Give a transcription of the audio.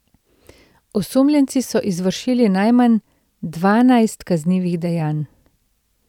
Osumljenci so izvršili najmanj dvanajst kaznivih dejanj.